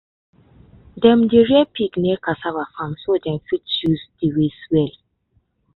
dem dey rear pig near cassava farm so dem fit use the waste well.